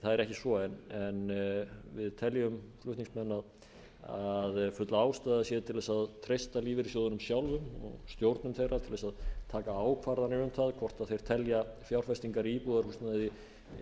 það er ekki svo en við teljum flutningsmenn að full ástæða sé til þess að treysta lífeyrissjóðunum sjálfum og stjórnum þeirra til þess að taka ákvarðanir um það hvort þeir telja fjárfestingar í íbúðarhúsnæði